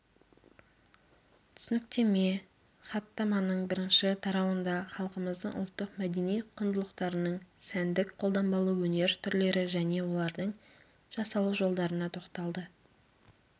түсініктеме хаттаманың бірінші тарауында халқымыздың ұлттық мәдени құндылықтарының сәндік қолданбалы өнер түрлері және олардың жасалу жолдарына тоқталды